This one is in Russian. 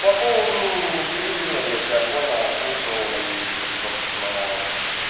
по поводу гривина я тебя понял услышал и собственно